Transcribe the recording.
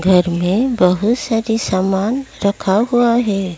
घर में बहुत सारी सामान रखा हुआ है।